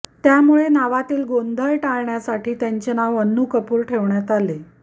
त्यामुळे नावातील गोंधळ टाळण्यासाठी त्यांचे नाव अन्नू कपूर ठेवण्यात आले